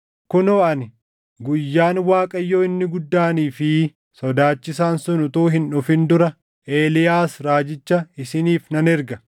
“Kunoo ani, guyyaan Waaqayyoo inni guddaanii fi sodaachisaan sun utuu hin dhufin dura Eeliyaas raajicha isiniif nan erga.